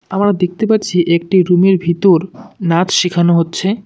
আমার দেখতে পাচ্ছি একটি রুমের ভিতর নাচ শিখানো হচ্ছে।